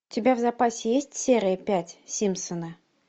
у тебя в запасе есть серия пять симпсоны